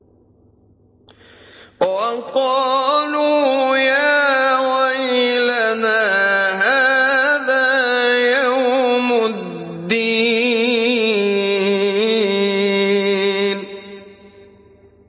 وَقَالُوا يَا وَيْلَنَا هَٰذَا يَوْمُ الدِّينِ